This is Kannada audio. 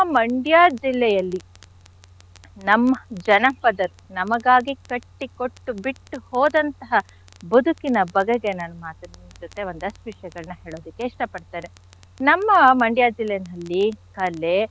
Mandya ಜಿಲ್ಲೆಯಲ್ಲಿ ನಮ್ಮ ಜನಪದ ನಮಗಾಗಿ ಕಟ್ಟಿ ಕೊಟ್ಟು ಬಿಟ್ಟು ಹೋದಂಥಹ ಬದುಕಿನ ಬಗೆಗೆ ನನ್ ಮಾತನ್ ನಿಮ್ ಜೊತೆ ಒಂದಷ್ಟ್ ವಿಷ್ಯಗಳ್ನ ಹೇಳೋದಕ್ಕೆ ಇಷ್ಟ ಪಡ್ತೇನೆ. ನಮ್ಮ Mandya ಜಿಲ್ಲೆನಲ್ಲಿ ಕಲೆ.